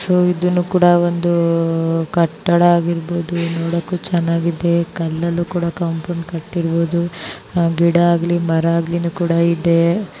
So ಇದೂನು ಕೂಡ ಕಟ್ಟಡ ಆಗಿರ್ಬಹುದು ಕಲ್ಲಿಂದ ಕಾಟಿದರೆ ನೋಡಕ್ಕೂ ಚೆನ್ನಾಗಿದೆ ಗಿಡ ಆಗಲಿ ಮರ ಆಗಲಿ ಕೂಡ ಇಲ್ಲಿ ಇದೆ.